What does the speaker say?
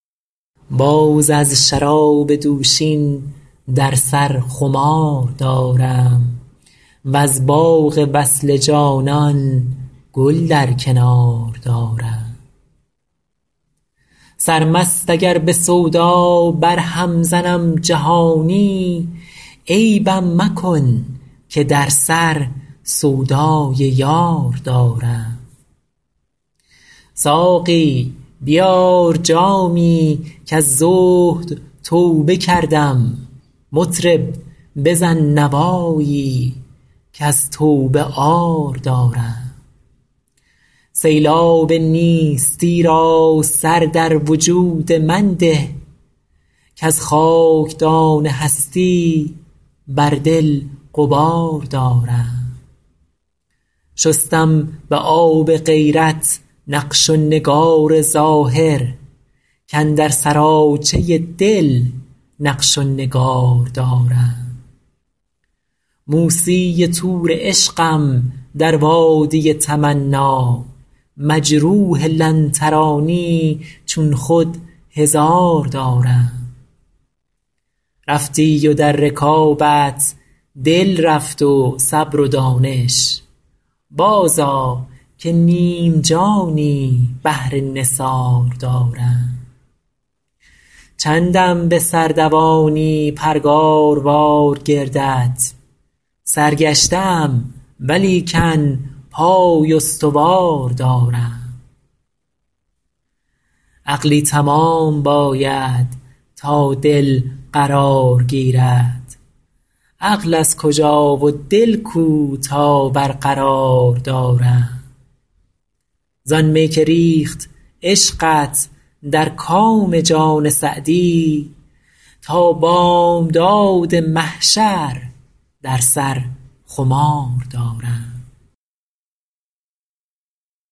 باز از شراب دوشین در سر خمار دارم وز باغ وصل جانان گل در کنار دارم سرمست اگر به سودا برهم زنم جهانی عیبم مکن که در سر سودای یار دارم ساقی بیار جامی کز زهد توبه کردم مطرب بزن نوایی کز توبه عار دارم سیلاب نیستی را سر در وجود من ده کز خاکدان هستی بر دل غبار دارم شستم به آب غیرت نقش و نگار ظاهر کاندر سراچه دل نقش و نگار دارم موسی طور عشقم در وادی تمنا مجروح لن ترانی چون خود هزار دارم رفتی و در رکابت دل رفت و صبر و دانش بازآ که نیم جانی بهر نثار دارم چندم به سر دوانی پرگاروار گردت سرگشته ام ولیکن پای استوار دارم عقلی تمام باید تا دل قرار گیرد عقل از کجا و دل کو تا برقرار دارم زآن می که ریخت عشقت در کام جان سعدی تا بامداد محشر در سر خمار دارم